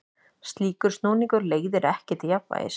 Slíkur snúningur leiðir ekki til jafnvægis.